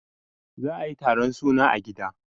za a yi taron suna a gida